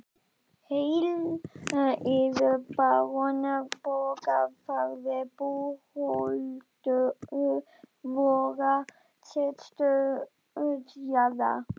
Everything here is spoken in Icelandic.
Heill yður barón Borgarfjarðar búhöldur vorrar stærstu jarðar.